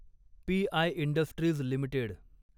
P I industries limited